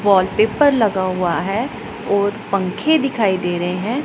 Wallpaper लगा हुआ है और पंखे दिखाई दे रहे हैं।